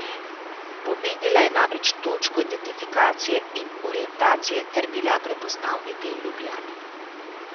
Pomenila je namreč točko identifikacije in orientacije ter bila prepoznavni del Ljubljane.